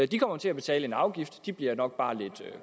de kommer til at betale en afgift de bliver nok bare lidt